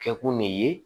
Kɛkun ne ye